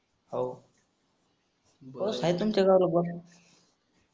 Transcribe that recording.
बस हाय तुमच्या गावाला बस.